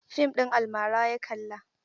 Fim ɗin almara ya kalla.